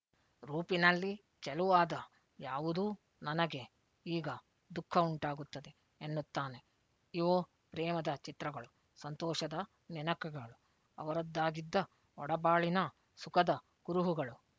ರೂಪಿನಲ್ಲಿ ಚೆಲುವಾದ ಯಾವುದೂ ನನಗೆ ಈಗ ದುಃಖ ಉಂಟಾಗುತ್ತದೆ ಎನ್ನುತ್ತಾನೆ ಇವು ಪ್ರೇಮದ ಚಿತ್ರಗಳು ಸಂತೋಷದ ನೆನಕೆಗಳು ಅವರದ್ದಾಗಿದ್ದ ಒಡಬಾಳಿನ ಸುಖದ ಕುರುಹುಗಳು